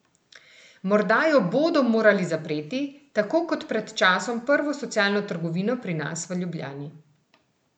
Morda jo bodo morali zapreti, tako kot pred časom prvo socialno trgovino pri nas v Ljubljani?